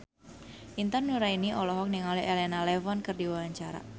Intan Nuraini olohok ningali Elena Levon keur diwawancara